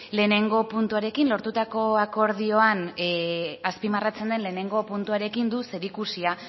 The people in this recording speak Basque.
lehenengo puntuarekin lortutako akordioan azpimarratzen den lehenengo puntuarekin du zerikusia